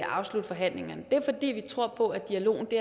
afslutte forhandlingerne det er fordi vi tror på dialogen det